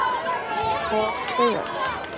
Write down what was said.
Og þau öll.